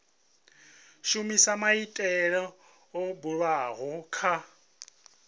shumisa maitele o bulwaho kha